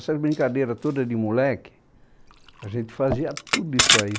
essas brincadeiras todas de moleque, a gente fazia tudo isso aí.